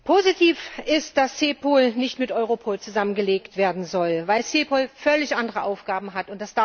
Positiv ist, dass CEPOL nicht mit Europol zusammengelegt werden soll, weil CEPOL völlig andere Aufgaben hat.